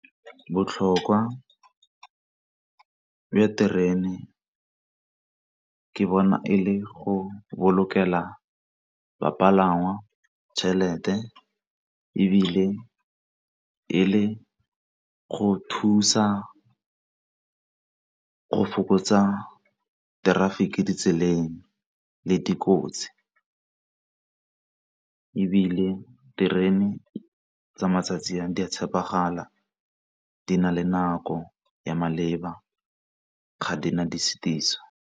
Botlhokwa bja terene ke bona e le go bolokela bapalangwa tšhelete, ebile e le go thusa go fokotsa traffic ditseleng le dikotsi. Ebile terene tsa matsatsi a di a tshepegala di na le nako ya maleba ga di na di .